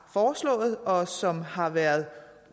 foreslået og som har været